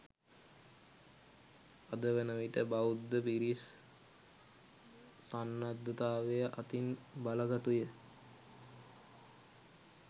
අද වනවිට බෞද්ධ පිරිස් සන්නද්ධතාවය අතින් බලගතුය